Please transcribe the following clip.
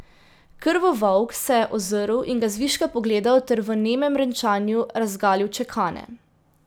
Krvovolk se je ozrl in ga zviška pogledal ter v nemem renčanju razgalil čekane.